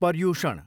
Paryushan